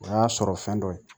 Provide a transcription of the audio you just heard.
O y'a sɔrɔ fɛn dɔ ye